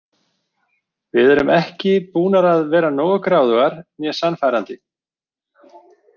Við erum ekki búnar að vera nógu gráðugar né sannfærandi.